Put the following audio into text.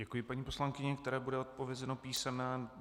Děkuji paní poslankyni, které bude odpovězeno písemně.